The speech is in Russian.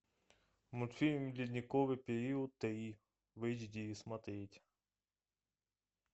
мультфильм ледниковый период три в эйч ди смотреть